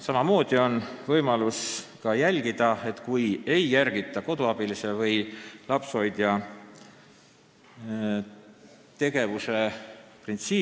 Samamoodi on võimalik jälgida koduabilise või lapsehoidja tegevuse printsiipe.